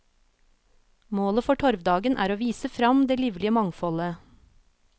Målet for torvdagen er å vise frem det livlige mangfoldet.